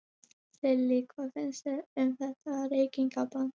Lillý: Hvað finnst þér um þetta reykingabann?